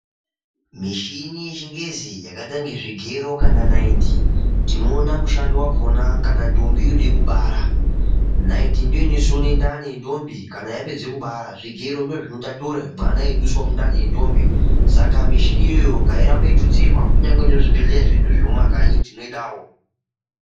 Mishini yechingezi iyi yakaita kunga zvigero kana naiti tinoone mushando yakona kana ntombi yode kubara. Ndani ndiyo inosona ndani yentombi kana yapedze kubara, zvigero ndozvinotatura mwana eibudiswa mundani yentombi. Saka mishina iyoyo ngairambe yeitutsirwa kunyange muzvibhehlera zvedu zvemumakanyi tinoidawo.